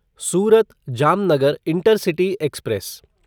Surat Jamnagar intercity express